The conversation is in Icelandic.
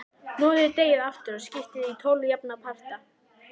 Hnoðið deigið aftur og skiptið því í tólf jafna parta.